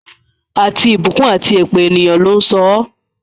Àti ìbùkún àti èpè, ènìyàn ló ń sọ ọ́.